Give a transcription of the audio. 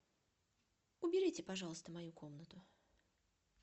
уберите пожалуйста мою комнату